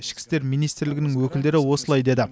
ішкі істер министрлігінің өкілдері осылай деді